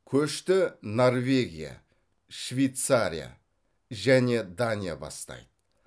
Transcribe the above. көшті норвегия швейцария және дания бастайды